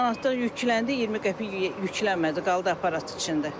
1 manatlıq yükləndi, 20 qəpik yüklənmədi, qaldı aparat içində.